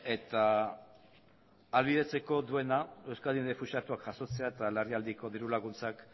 eta ahalbidetzeko duena euskadi errefuxiatuak jasotzea eta larrialdiko diru laguntzak